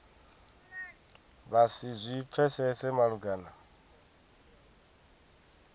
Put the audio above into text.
vha si zwi pfesese malugana